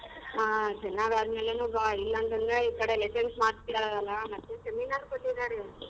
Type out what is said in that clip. ಹಾ ಚೆನಾಗ್ ಅದ್ಮೇಲೆನೆ ಬಾ ಈ ಕಡೆ lessons ಮಾಡ್ತಿದ್ದಾರಲ್ಲ ಮತ್ತೆ seminar ಕೊಟ್ಟಿದ್ದಾರೆ.